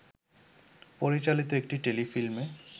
পরিচালিত একটি টেলিফিল্মে